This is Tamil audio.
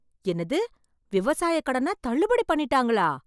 என்னது விவசாய கடனை தள்ளுபடி பண்ணிட்டாங்களா!